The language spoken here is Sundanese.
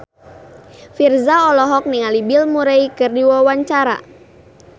Virzha olohok ningali Bill Murray keur diwawancara